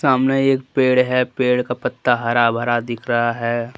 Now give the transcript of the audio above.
सामने एक पेड़ है पेड़ का पत्ता हरा भरा दिख रहा है।